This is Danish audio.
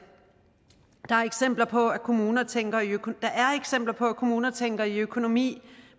der er eksempler på at kommuner tænker kommuner tænker i økonomi